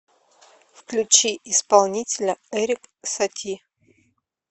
включи исполнителя эрик сати